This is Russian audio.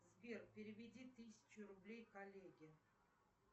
сбер переведи тысячу рублей коллеге